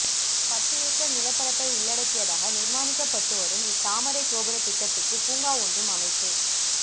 பத்து ஏக்கர் நிலப்பரப்பை உள்ளடக்கியதாக நிர்மாணிக்கப்பட்டுவரும் இத்தாமரைத் கோபுர திட்டத்துக்கு பூங்கா ஒன்றும் அமைப்பு